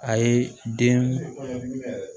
A ye den